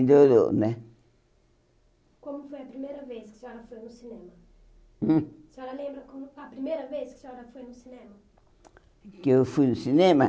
Melhorou né? Como foi a primeira vez que a senhora foi no cinema? Hum? A senhora lembra como a primeira vez que a senhora foi no cinema? Que eu fui no cinema?